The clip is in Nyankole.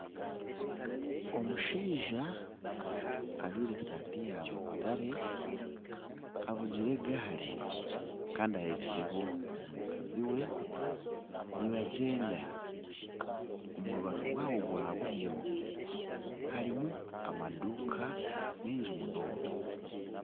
Omushaija ojwire eshaati ya mutare avugire egaari kandi ehekireho omukazi we nibagyenda omu rubaju rwabo rwa buryo harimu amaduuka maingi munonga